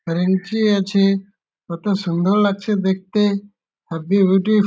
ফ্রেঞ্চি আছে-এ কত সুন্দর লাগছে দেখতে-এ হেবি বিউটি --